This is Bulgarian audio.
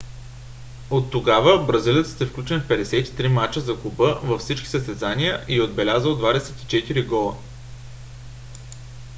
от тогава бразилецът е включен в 53 мача за клуба във всички състезания и е отбелязал 24 гола